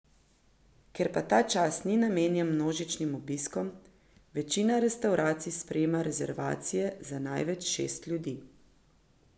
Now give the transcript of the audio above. Ker pa ta čas ni namenjen množičnim obiskom, večina restavracij sprejema rezervacije za največ šest ljudi.